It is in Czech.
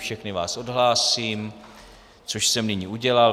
Všechny vás odhlásím, což jsem nyní udělal.